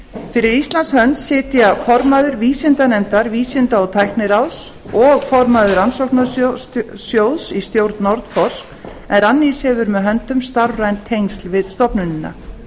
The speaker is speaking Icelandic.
fyrir íslands hönd sitja formaður vísindanefndar vísinda og tækniráðs og formaður rannsóknarsjóðs í stjórn nordforsk en rannís hefur með höndum starfræn tengsl við stofnunina